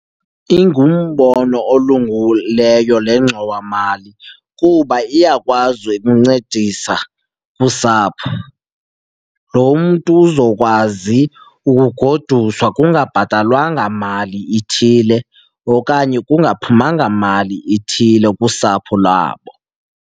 Ingumbono olungileyo le ngxowamali kuba iyakwazi ukuncedisa usapho. Lo mntu uzokwazi ukugoduswa kungabhatalwanga mali ithile okanye kungaphuma nyanga mali ithile kusapho labo.